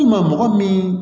I ma mɔgɔ min